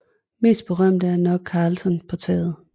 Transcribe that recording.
Mest berømt er nok Karlsson på taget